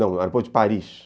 Não, no aeroporto de Paris.